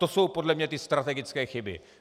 To jsou podle mě ty strategické chyby.